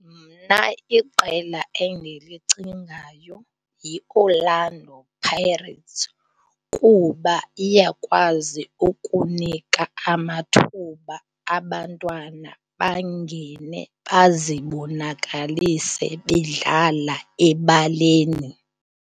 Mna iqela endilicingayo yiOrlando Pirates kuba iyakwazi ukunika amathuba abantwana bangene bazibonakalise bedlala ebaleni.